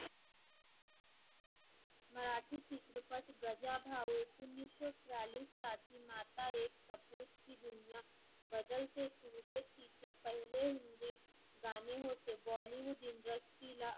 मराठी चित्रपट गजा भाऊ एकोणीससो चालीस माता एक सबुत की दुनिया बदलते चेहरे तीचे पहिले हिंदी गाणे होते. bollywood industry ला